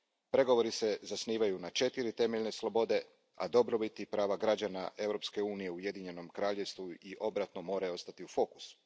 Pregovori se zasnivaju na četiri temeljne slobode, a dobrobit i prava građana Europske unije u Ujedinjenoj Kraljevini i obratno moraju ostati u fokusu.